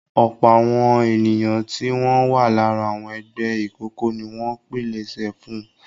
Ọ̀pọ̀ àwọn ènìyàn tí wọn wà lára àwọn ẹgbẹ́ ìkọ̀kọ̀ ni wọ́n pilẹ̀sẹ̀ fún un.